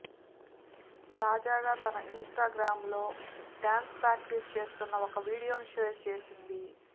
తాజాగా తన ఇన్స్టాగ్రామ్ లో డాన్స్ ప్రాక్టీస్ చేస్తోన్న ఒక వీడియోను షేర్ చేసింది